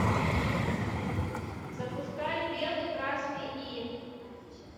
запускай белый красный и